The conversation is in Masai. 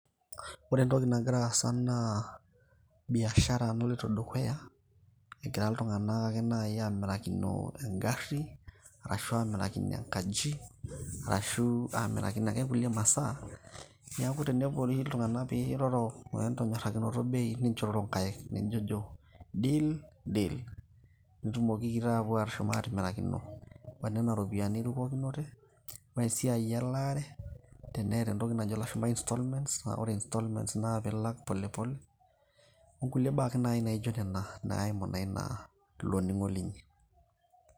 ore entoki nagira aasa naa biashara naloito dukuya egira iltung'anak ake naaji amirakino engarri ashu amirakino enkaji arashu amirakino ake inkulie masaa niaku tenepuori iltung'anak piiroro wentonyorrakinoto bei ninchororo inkaik nijojo deal deal nitumokiki taapuo ashom atimirakino onena ropiyiani nirukokinote wesiai elaare teneeta entoki najo ilashumpa installments aa ore instalments naa pilak polepole okulie baa ake naaji naijo nena naimu naa iloning'o linyi.